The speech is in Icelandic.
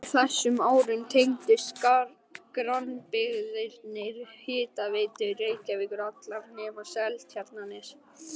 Á þessum árum tengdust grannbyggðirnar Hitaveitu Reykjavíkur, allar nema Seltjarnarnes.